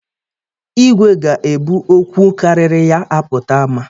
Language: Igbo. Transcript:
Igwe ga-ebu okwu karịrị ya apụta ama